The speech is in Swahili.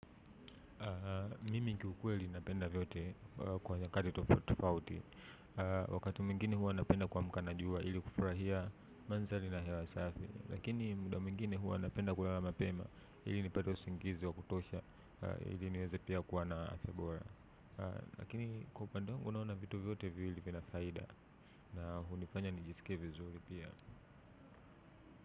Mimi kiukweli napenda vyote kwa nyakati tofauti tofauti. Wakati mwingine huwa napenda kuamka na jua ili kufurahia mandhari na hewa safi lakini muda mwingine huwa napenda kulala mapema ili nipate usingizi wa kutosha ili niweze pia kuwa na afya bora. Lakini kwa upande wangu naona vitu vyote viwili vina faida na hunifanya nijisikie vizuri pia.